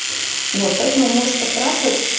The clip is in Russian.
вот поэтому можешь поспрашивать